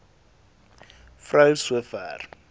vrou so ver